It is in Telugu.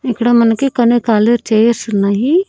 ఇక్కడ మనకి కొన్ని కాలి చైర్స్ ఉన్నాయి.